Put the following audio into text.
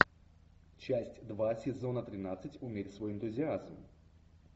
часть два сезона тринадцать умерь свой энтузиазм